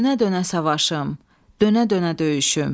Dönə-dönə savaşım, dönə-dönə döyüşüm.